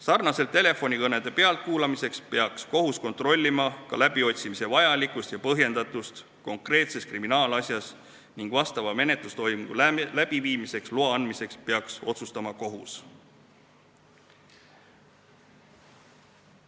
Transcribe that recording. Sarnaselt telefonikõnede pealtkuulamisega peaks kohus kontrollima ka läbiotsimise vajalikkust ja põhjendatust konkreetses kriminaalasjas ning vastava menetlustoimingu läbiviimiseks loa andmise peaks otsustama kohus.